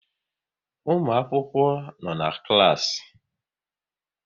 Ụmụakwụkwọ nọ na klaasị